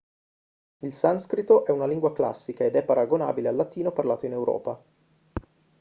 il sanscrito è una lingua classica ed è paragonabile al latino parlato in europa